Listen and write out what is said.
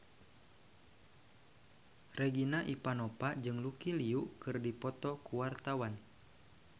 Regina Ivanova jeung Lucy Liu keur dipoto ku wartawan